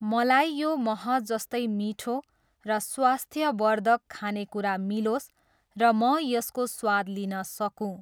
मलाई यो मह जस्तै मिठो र स्वास्थ्यवर्धक खानेकुरा मिलोस् र म यसको स्वाद लिन सकूँ!